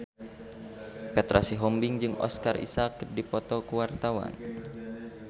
Petra Sihombing jeung Oscar Isaac keur dipoto ku wartawan